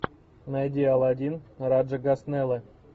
найди аладдин раджа госнелла